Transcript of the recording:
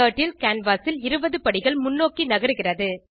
turtle canvas ல் 20 படிகள் முன்னோக்கி நகருகிறது